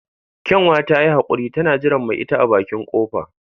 Kyanwa ta yi haquri tana jiran mai ita a bakin kofa.